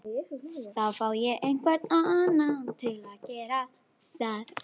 Þá fæ ég einhvern annan til að gera það